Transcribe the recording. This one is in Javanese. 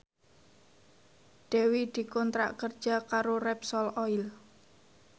Dewi dikontrak kerja karo Repsol Oil